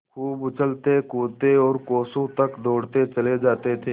खूब उछलतेकूदते और कोसों तक दौड़ते चले जाते थे